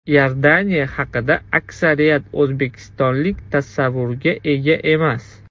Iordaniya haqida aksariyat o‘zbekistonlik tasavvurga ega emas.